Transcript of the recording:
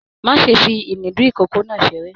Má ṣe fi inùdí ikòkò náà seré!